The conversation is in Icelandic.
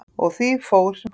Og því fór sem fór.